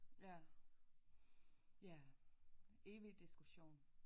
Ja ja evig diskussion